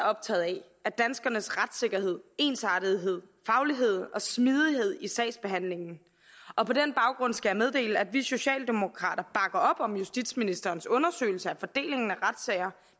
optaget af er danskernes retssikkerhed ensartethed faglighed og smidighed i sagsbehandlingen og på den baggrund skal jeg meddele at vi socialdemokrater bakker op om justitsministerens undersøgelse af fordelingen af retssager